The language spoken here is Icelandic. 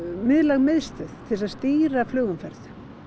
miðlæg miðstöð til að stýra flugumferð